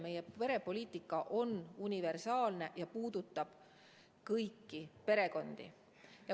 Meie perepoliitika on universaalne ja puudutab kõiki perekondi.